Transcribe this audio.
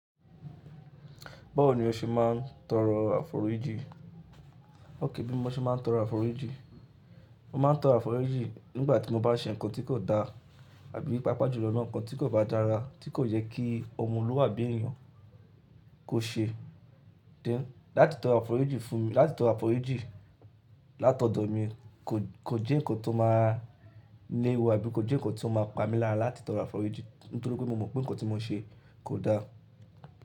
Báwo ni o ṣe máa ń tọrọ àforíjì? Ókè bí mo ṣe máa ń tọrọ àforíjì. Mo máa ń tọrọ àforíjì nígbà tí mo bá ṣe nǹkan tí kò da. Abí pàápàá jùlo naa nǹkan tí kò bá dára tí kò yẹ kí ọmọluabi èeyàn kó ṣe. Deni, láti tọrọ àforíjì fún mi, láti tọrọ àforíjì Látọ̀dọ̀ mi kò, kò jẹ́ nǹkan tó máa léwu àbí kò jẹ́ nǹkan tí o máa pa mi lára láti tọrọ àforíjì nítorí pé mo mọ̀ pé nǹkan tí mo ṣe kò da.